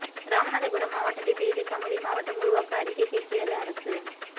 ராமநாதபுரம் மாவட்டத்தை பிரித்து கமுதி மாவட்டம் உருவாக்க அறிக்கை கேட்கிறது அரசு